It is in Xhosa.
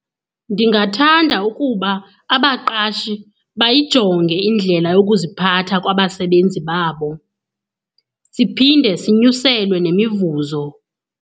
Ndingathanda ukuba abaqashi bayayijonge indlela yokuziphatha kwabasebenzi babo, siphinde sinyuselwe nemivuzo.